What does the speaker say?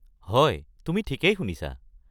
হয়, তুমি ঠিকেই শুনিছা।